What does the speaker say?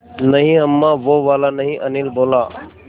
नहीं अम्मा वो वाला नहीं अनिल बोला